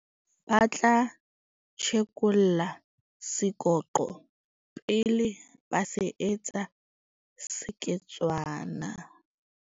Ba tla tjhekolla sekoqo pele ba se etsa seketswana.